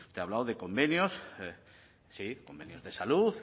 usted ha hablado de convenios sí convenios de salud